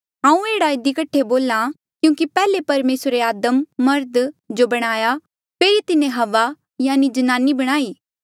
हांऊँ एह्ड़ा इधी कठे बोल्हा क्यूंकि पैहले परमेसरे आदम मर्ध जो बणाया फेरी तिन्हें हव्वा जन्नानी बणाई